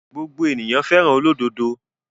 Gbogbo ènìyàn fẹ́ràn olódodo.